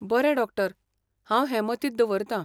बरें डॉक्टर! हांव हें मतींत दवरतां.